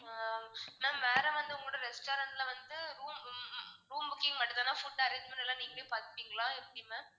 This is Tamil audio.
ஆஹ் ma'am வேற வந்து உங்களோட restaurant ல வந்து room உம் உம் room booking மட்டும்தானா food arrangements எல்லாம் நீங்களே பாத்துப்பீங்களா எப்படி ma'am